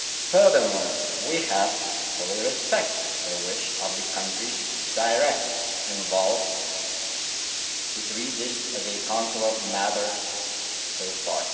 Furthermore, we have to fully respect the wish of the countries directly involved to treat this as a Consular matter so far.